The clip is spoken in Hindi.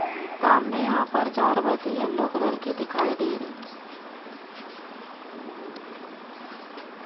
सामने यहां पर चार बसे येलो कलर की दिखाई दे रहीं --